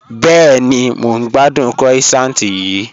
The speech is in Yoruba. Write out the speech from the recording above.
Bẹẹni, mọ̀ n gbàdùn croissant yìí